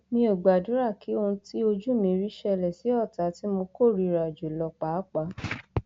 mi ò gbàdúrà kí ohun tí ojú mi rí ṣẹlẹ sí ọtá tí mo kórìíra jù lọ pàápàá